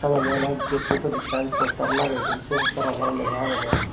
oww yo oley getto siyot ekkan postar lageyduon se postaranot lega agedey.